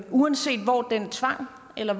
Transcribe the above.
uanset hvor den tvang eller